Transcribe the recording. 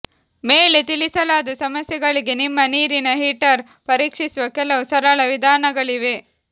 ಮೇಲೆ ತಿಳಿಸಲಾದ ಸಮಸ್ಯೆಗಳಿಗೆ ನಿಮ್ಮ ನೀರಿನ ಹೀಟರ್ ಪರೀಕ್ಷಿಸುವ ಕೆಲವು ಸರಳ ವಿಧಾನಗಳಿವೆ